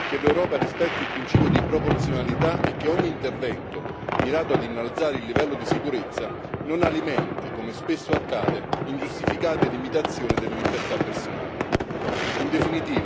È fondamentale che l'Europa rispetti il principio di proporzionalità e che ogni intervento mirato ad innalzare il livello di sicurezza non alimenti, come spesso accade, ingiustificate limitazioni delle libertà personali.